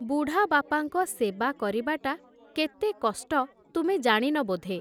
ବୁଢ଼ାବାପାଙ୍କ ସେବା କରିବାଟା କେତେ କଷ୍ଟ ତୁମେ ଜାଣିନ ବୋଧେ ।